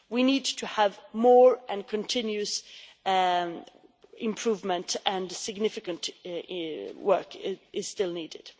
We need to have more and continuous improvement, and significant work is still needed.